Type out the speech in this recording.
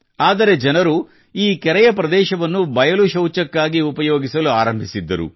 ಆದರೆ ಜನರು ಈ ಕೆರೆಯಪ್ರದೇಶವನ್ನು ಬಯಲು ಶೌಚಕ್ಕಾಗಿ ಉಪಯೋಗಿಸಲು ಆರಂಭಿಸಿದ್ದರು